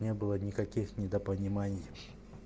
не было никаких недопониманий